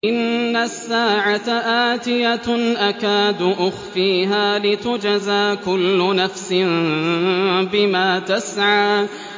إِنَّ السَّاعَةَ آتِيَةٌ أَكَادُ أُخْفِيهَا لِتُجْزَىٰ كُلُّ نَفْسٍ بِمَا تَسْعَىٰ